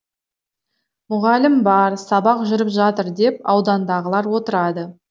мұғалім бар сабақ жүріп жатыр деп аудандағылар отырады